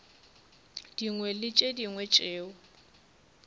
dingwe le tše dingwe tšeo